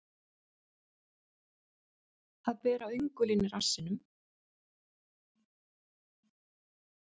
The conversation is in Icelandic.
Að bera öngulinn í rassinum